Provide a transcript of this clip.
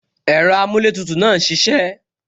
Ẹ̀rọ amuletutu náà ń ṣisẹ